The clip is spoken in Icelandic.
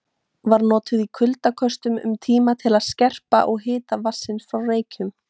Var notuð í kuldaköstum um tíma til að skerpa á hita vatnsins frá Reykjum.